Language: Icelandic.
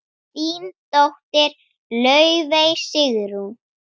Þín dóttir, Laufey Sigrún.